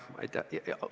Aitäh!